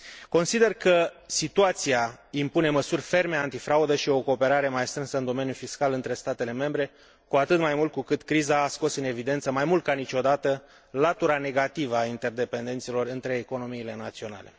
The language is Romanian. Consider că situația impune măsuri ferme antifraudă și o cooperare mai strânsă în domeniul fiscal între statele membre, cu atât mai mult cu cât criza a scos în evidență mai mult ca niciodată latura negativă a interdependențelor între economiile naționale.